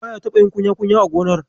Baya taɓa yin kunya-kunya a gonar.